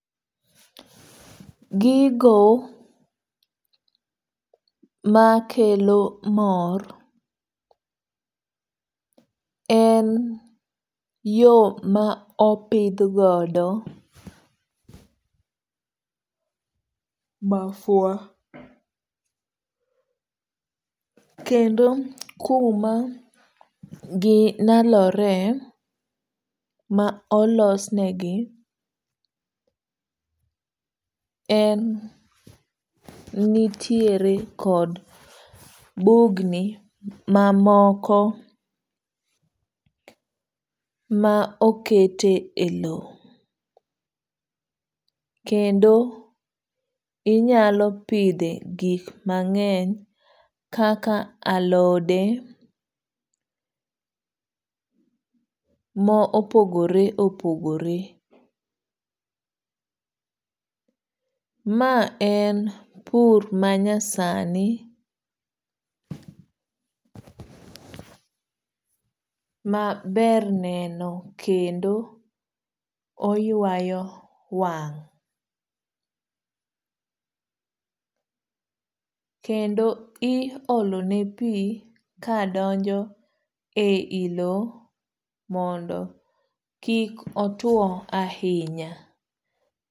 Gigo ma kelo mor en yo ma opidh godo mafua, kendo kuma gi nalore ma olosnegi en nitiere kod bugni ma moko ma okete e lo. Kendo inyalo pidhe gik mang'eny kaka alode, mo opogore opogore. Ma en pur ma nyasani, ma ber neno kendo oywayo wang'. Kendo i olone pi ka donjo e i lo mondo kik otuo ahinya.